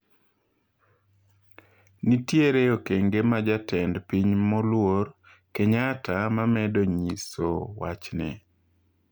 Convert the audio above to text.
Nitiere okenge ma jatend piny moluor Kenyatta mamedo nyiso wachni